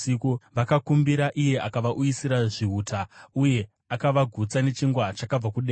Vakakumbira, iye akavauyisira zvihuta, uye akavagutsa nechingwa chakabva kudenga.